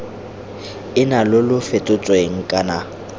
ena lo lo fetotsweng kana